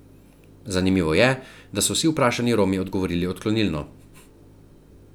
Zanimivo je, da so vsi vprašani Romi odgovorili odklonilno.